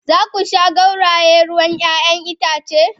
Za ku sha gauraye ruwan 'ya'yan itace?